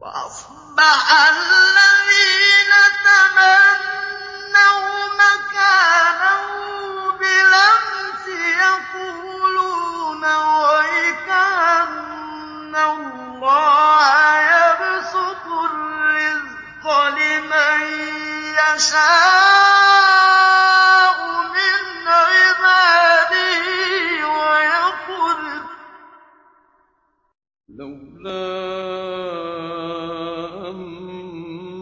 وَأَصْبَحَ الَّذِينَ تَمَنَّوْا مَكَانَهُ بِالْأَمْسِ يَقُولُونَ وَيْكَأَنَّ اللَّهَ يَبْسُطُ الرِّزْقَ لِمَن يَشَاءُ مِنْ عِبَادِهِ وَيَقْدِرُ ۖ لَوْلَا أَن